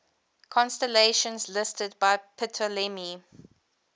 constellations listed by ptolemy